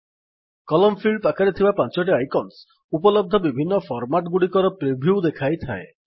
କଲମ୍ field ପାଖରେ ଥିବା ପାଞ୍ଚଟି ଆଇକନ୍ସ ଉପଲବ୍ଧ ବିଭିନ୍ନ ଫର୍ମାଟ୍ ଗୁଡ଼ିକର ପ୍ରିଭ୍ୟୁ ଦେଖାଇଥାଏ